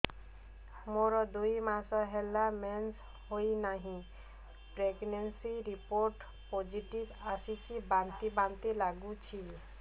ମୋର ଦୁଇ ମାସ ହେଲା ମେନ୍ସେସ ହୋଇନାହିଁ ପ୍ରେଗନେନସି ରିପୋର୍ଟ ପୋସିଟିଭ ଆସିଛି ବାନ୍ତି ବାନ୍ତି ଲଗୁଛି